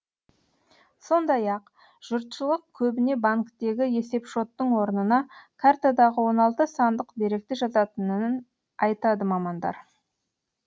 сондай ақ жұртшылық көбіне банктегі есепшоттың орнына картадағы он алты сандық деректі жазатынын айтады мамандар